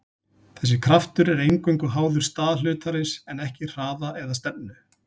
þessi kraftur er eingöngu háður stað hlutarins en ekki hraða eða stefnu